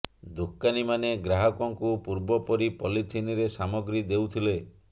ଦୋକନୀ ମାନେ ଗ୍ରାହକଙ୍କୁ ପୂର୍ବ ପରି ପଲିଥିନ ରେ ସାମଗ୍ରୀ ଦେଉଥିଲେ